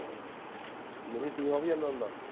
ਨਹੀਂ ਵੀ ਜਾਂਦਾ ਹੁੰਦਾ